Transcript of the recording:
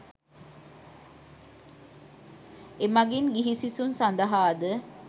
එමෙන්ම ගිහි සිසුන් සඳහාද